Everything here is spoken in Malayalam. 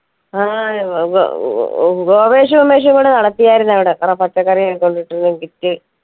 ആ ഏർ ഗോപേഷു ഉമേഷുങ്കുടെ നടത്തിയായിരുന്നു അവിടെ എത്ര പച്ചക്കറിയൊക്കെ കൊണ്ടിട്ടുണ്ട് kit ൽ